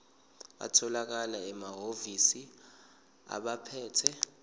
atholakala emahhovisi abaphethe